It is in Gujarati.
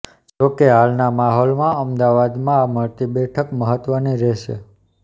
જો કે હાલના માહોલમાં અમદાવાદમાં આ મળતી બેઠક મહત્વની રહેશે